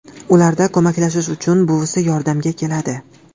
Ularga ko‘maklashish uchun buvisi yordamga keladi.